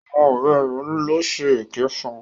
Àwọn ọ̀rẹ́ rẹ̀ ló ń ṣe èké fún.